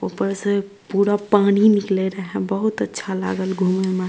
ऊपर से पूरा पानी निकले रहे बहुत अच्छा लागल घूमे में।